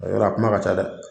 O yɔrɔ a Kuma ka ca dɛ